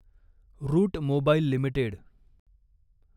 route Mobile limited